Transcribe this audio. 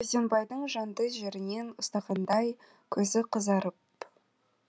өзденбайдың жанды жерінен ұстағандай көзі қызарып